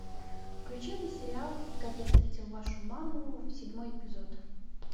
включи мне сериал как я встретил вашу маму седьмой эпизод